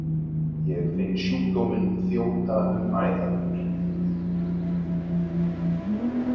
Ég finn sjúkdóminn þjóta um æðar mér.